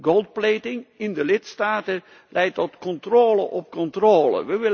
De goldplating in de lidstaten leidt tot controle op controle.